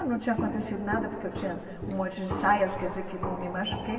Não tinha acontecido nada, porque eu tinha um monte de saias, quer dizer que não me machuquei.